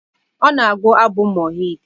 Ọ na-agụ abụ Mohid